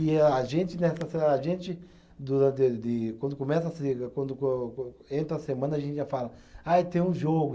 E a gente, nessa, a gente do do de, quando começa a se, quando co co, entra a semana, a gente já fala, ah, tem um jogo.